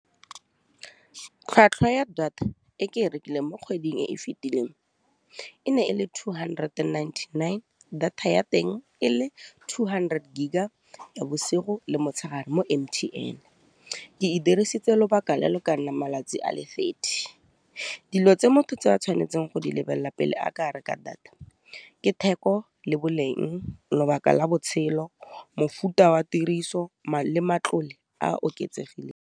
Tlhwatlhwa ya data e ke e rekileng mo kgweding e e fitileng e ne e le two hundred ninety-nine, data ya teng e le two hundred gig-a ya bosigo le motshegare mo M_T_N ke di dirisitse lobaka le lo ka nna malatsi a le thirty. Dilo tse motho tse a tshwanetseng go di lebelela pele a ka reka data, ke theko le boleng, lobaka la botshelo, mofuta wa tiriso , matlole a oketsegileng.